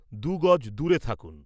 দু'গজ দূরে থাকুন।